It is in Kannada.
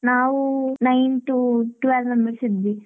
ನಾವು nine to twelve members ಇದ್ವಿ.